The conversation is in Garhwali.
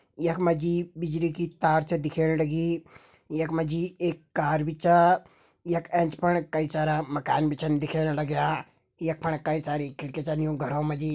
यख मा जी बिजली की तार छ दिखेण लगीं यख मा जी एक कार भी छ यख एंच फण कई सारा मकान भी छन दिखेण लग्यां यख फण कई सारी खिड़की छन यों घरों मा जी।